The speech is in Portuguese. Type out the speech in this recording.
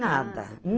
Nada.